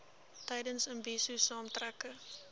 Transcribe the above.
tydens imbizo saamtrekke